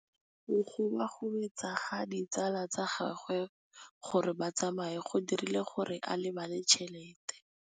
Go gobagobetsa ga ditsala tsa gagwe, gore ba tsamaye go dirile gore a lebale tšhelete.